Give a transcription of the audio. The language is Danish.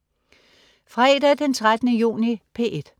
Fredag den 13. juni - P1: